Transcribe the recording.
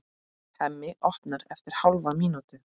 Hemmi opnar eftir hálfa mínútu.